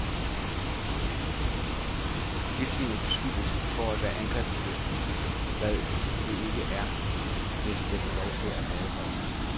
Vildsvinet beskyldes for at være angrebslysten, hvad det ikke er, hvis det får lov at være i fred.